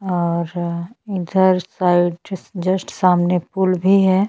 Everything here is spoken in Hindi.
और इधर साइड जस्ट सामने पुल भी है।